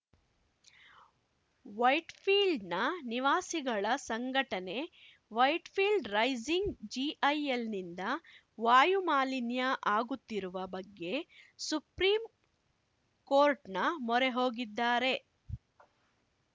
ವೈಟ್‌ಫೀಲ್ಡ್‌ನ ನಿವಾಸಿಗಳ ಸಂಘಟನೆ Whitefield rising ಜಿಐಎಲ್‌ನಿಂದ ವಾಯುಮಾಲಿನ್ಯ ಆಗುತ್ತಿರುವ ಬಗ್ಗೆ ಸುಪ್ರೀಂಕೋರ್ಟ್‌ನ ಮೊರೆ ಹೋಗಿದ್ದಾರೆ